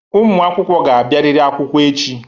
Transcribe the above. Ụmụ akwụkwọ ga-abịarịrị akwụkwọ echi.